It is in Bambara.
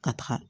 Ka taga